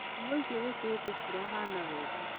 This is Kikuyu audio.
Nguo icio wĩkĩrĩte itirahana wega